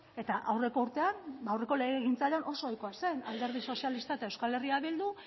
eta aurreko urtean aurreko legegintzaldian oso ohikoa zen alderdi sozialista eta eh bildu